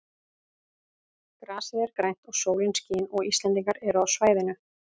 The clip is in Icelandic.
Grasið er grænt og sólin skín og Íslendingar eru á svæðinu.